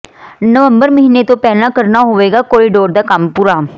ਨਵੰਬਰ ਮਹੀਨੇ ਤੋਂ ਪਹਿਲਾਂ ਕਰਨਾ ਹੋਵੇਗਾ ਕੌਰੀਡੋਰ ਦਾ ਕੰਮ ਪੂਰਾ